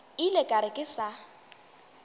ile ka re ke sa